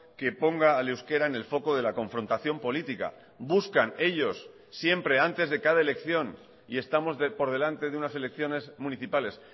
que ponga al euskera en el foco de la confrontación política buscan ellos siempre antes de cada elección y estamos por delante de unas elecciones municipales